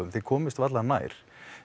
þið komist varla nær